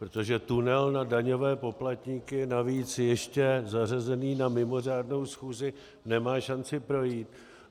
Protože tunel na daňové poplatníky, navíc ještě zařazený na mimořádnou schůzi, nemá šanci projít.